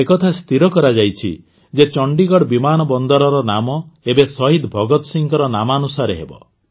ଏ କଥା ସ୍ଥିର କରାଯାଇଛି ଯେ ଚଣ୍ଡିଗଡ଼ ବିମାନ ବନ୍ଦରର ନାମ ଏବେ ଶହୀଦ ଭଗତ ସିଂହଙ୍କ ନାମାନୁସାରେ ହେବ